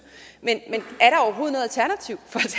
men